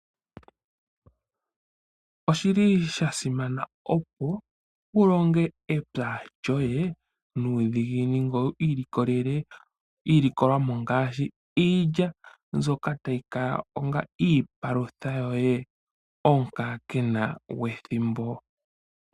Oshi li sha simana opo wu longe epya lyoye nuudhiginini ngoye wu ilikolele iilikolomwa ngaashi iilya mbyoka tayi kala onga iipalutha yoye omukaakena gwethimbo.